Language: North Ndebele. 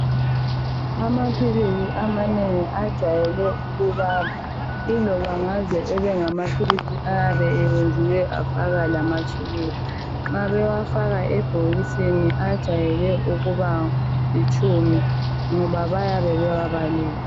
Amaphilisi amanengi ajwayele ukubaba .Iloba ngaze ebengamaphilisi ayabe eyenziwe afakwa lamatshukela .Nxa bewafaka ebhokisini ajayele ukuba litshumi ngoba bayabe bewabalile .